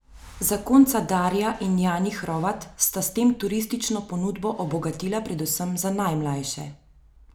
Zakonca Darja in Jani Hrovat sta s tem turistično ponudbo obogatila predvsem za najmljaše.